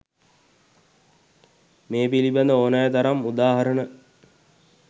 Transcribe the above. මේ පිළිබඳ ඕනෑ තරම් උදාහරණ